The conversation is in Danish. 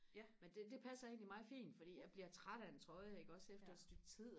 men det det passer egentlig mig fint fordi jeg bliver træt af en trøje iggås efter et stykke tid